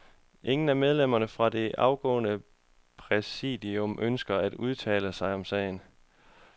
Ingen af medlemmerne fra det afgåede præsidium ønsker at udtale sig om sagen.